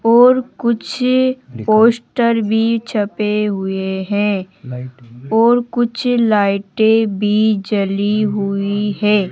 और कुछ पोस्टर भी छपे हुए हैं और कुछ लाइटें भी जली हुई है।